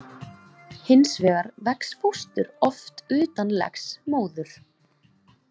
Hins vegar vex fóstur oft utan legs móður.